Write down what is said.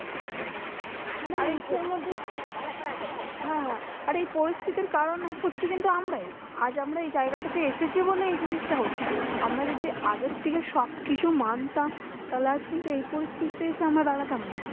হ্যাঁ আর এই পরিস্থিতির কারণ হচ্ছি কিন্তু আমরাই। আজ আমরা এই জায়গাটাতে এসেছি বলে এই জিনিসটা হচ্ছে। আমরা যদি আগের থেকে সবকিছু মানতাম, তাহলে আজ কিন্তু এই পরিস্থিতিতে এসে আমরা দাঁড়াতাম না।